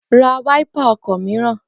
Ra wáípà ọkọ̀ mìíràn!